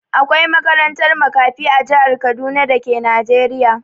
Akwai makarantar makafi a jihar Kaduna da ke Najeriya.